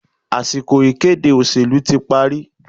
Àsìkò ìkéde òṣèlú tí parí